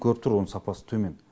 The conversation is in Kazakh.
көріп тұр оның сапасы төмен